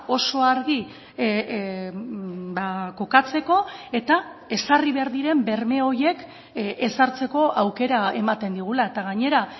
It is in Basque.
oso argi kokatzeko eta ezarri behar diren berme horiek ezartzeko aukera ematen digula eta gainera